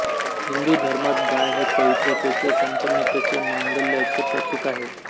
हिंदू धर्मात गाय हे पवित्रतेचे संपन्नतेचे मांगल्याचे प्रतीक आहे